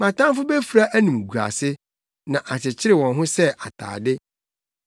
Mʼatamfo befura animguase; na akyekyere wɔn ho sɛ atade.